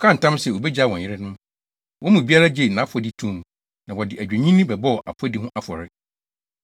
Wɔkaa ntam sɛ wobegyaa wɔn yerenom, wɔn mu biara gyee nʼafɔdi too mu, na wɔde adwennini bɛbɔɔ afɔdi ho afɔre.